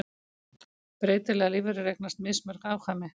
Breytilegar lífverur eignast mismörg afkvæmi.